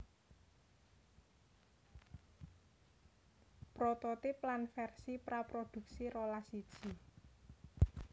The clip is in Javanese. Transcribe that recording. Prototip lan versi praproduksi rolas iji